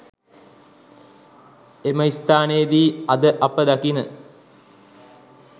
එම ස්ථානයේදි අද අප දකින